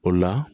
O la